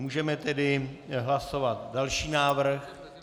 Můžeme tedy hlasovat další návrh.